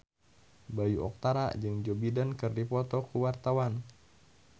Bayu Octara jeung Joe Biden keur dipoto ku wartawan